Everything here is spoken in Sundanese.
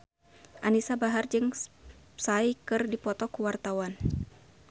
Anisa Bahar jeung Psy keur dipoto ku wartawan